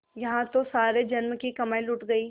यहाँ तो सारे जन्म की कमाई लुट गयी